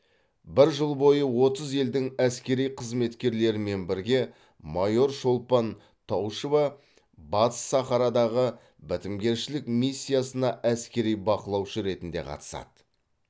бір жыл бойы отыз елдің әскери қызметкерлерімен бірге майор шолпан таушева батыс сахарадағы бітімгершілік миссиясына әскери бақылаушы ретінде қатысады